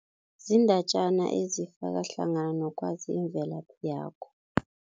Ziindatjana ezifaka hlangana nokwazi imvelaphi yakho.